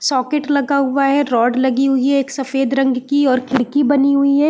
Socket लगा हुआ है रोड लगी हुवी है एक सफ़ेद रंग की और एक खिड़की बानी हुई हैं।